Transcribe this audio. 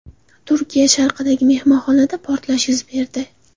Turkiya sharqidagi mehmonxonada portlash yuz berdi.